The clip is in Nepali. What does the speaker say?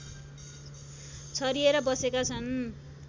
छरिएर बसेका छन्